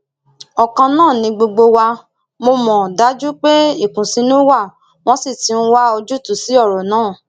ọkan náà ni gbogbo wa mọ mo dájú pé ìkùnsínú wa wọn sì ti ń wá ojútùú sí ọrọ náà